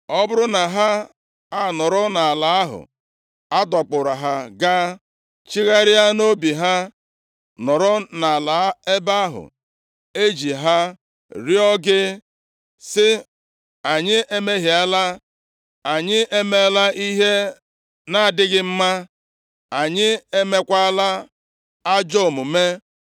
ọ bụrụ na ha anọrọ nʼala ahụ a dọkpụrụ ha gaa, chegharịa nʼobi ha, nọrọ nʼala ebe ahụ eji ha rịọọ gị, sị, ‘Anyị emehiela, anyị emeela ihe nʼadịghị mma, anyị emekwala ajọ omume’;